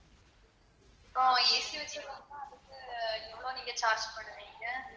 இப்போ AC வச்ச room ம்னா அதுக்கு எவ்வளவு நீங்க charge பண்ணுவீங்க?